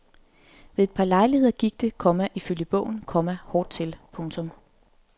Ved et par lejligheder gik det, komma ifølge bogen, komma hårdt til. punktum